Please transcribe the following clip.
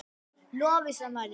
Lovísa María.